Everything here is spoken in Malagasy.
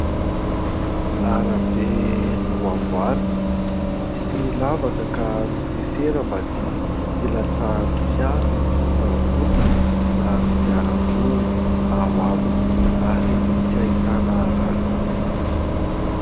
Arabe no amboarina. Misy lavaka ka nofefena mba tsy ilatsahan'ny fiara na olona na kodiarandroa ao aminy, ary tsy ahitana loza.